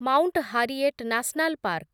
mount Harriet National park